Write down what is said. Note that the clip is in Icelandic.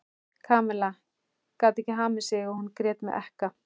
Kamilla gat ekki hamið sig og hún grét með ekka.